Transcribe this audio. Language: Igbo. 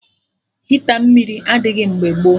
Hita mmiri adịghị mgbe gboo